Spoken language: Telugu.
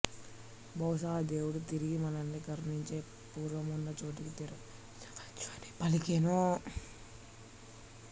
బహుశా ఆ దేవుడు తిరిగి మనల్ని కరుణించి పూర్వమున్న చోటకి చేర్చవచ్చు అని పలికెను